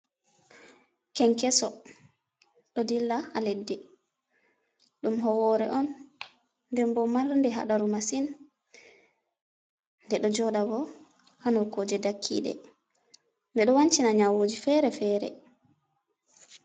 Kenkeso ɗo dilla ha leddi. Ɗum howore on nden bo mar nde haɗaru masin, nde ɗo joɗa bo ha nokkuje dakkiɗe, nde do wancina nyawuji fere fere.